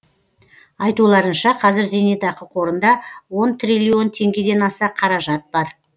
айтуларынша қазір зейнетақы қорында он триллион теңгеден аса қаражат бар